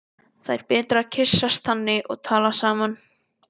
Það er betra að kyssast þannig og tala saman.